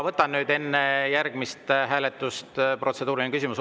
Võtan nüüd enne järgmist hääletust protseduurilise küsimuse.